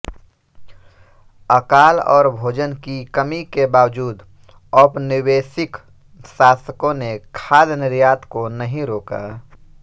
अकाल और भोजन की कमी के बावजूद औपनिवेशिक शासकों ने खाद्य निर्यात को नहीं रोका